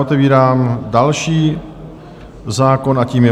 Otevírám další zákon a tím je